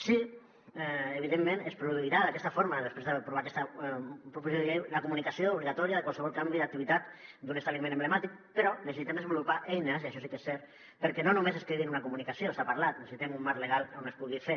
sí que evidentment es produirà d’aquesta forma després d’aprovar aquesta proposició de llei la comunicació obligatòria de qualsevol canvi d’activitat d’un establiment emblemàtic però necessitem desenvolupar eines i això sí que és cert perquè no només es quedi en una comunicació se n’ha parlat necessitem un marc legal on es pugui fer